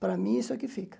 Para mim, isso é o que fica.